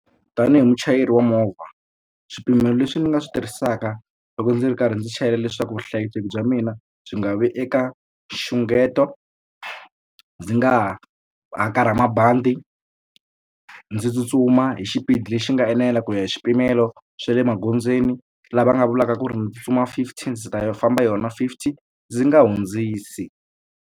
Tanihi muchayeri wa movha swipimelo leswi ndzi nga swi tirhisaka loko ndzi ri karhi ndzi chayela leswaku vuhlayiseki bya mina byi nga vi eka nxungeto ndzi nga hakarha mabandi ndzi tsutsuma hi xipidi lexi nga enela ku ya hi swipimelo swa le magondzweni lava nga vulaka ku ri ndzi tsutsuma fifty ndzi ta famba yona fifty ndzi nga hundzisi.